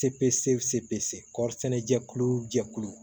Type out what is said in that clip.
Cpse cpe kɔri sɛnɛ jɛkulu jɛkulu